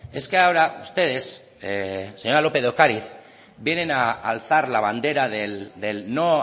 es que ahora ustedes señor lópez de ocariz vienen a alzar la bandera del no